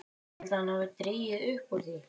OG HVAÐ HALDIÐI AÐ HANN HAFI DREGIÐ UPP ÚR ÞVÍ?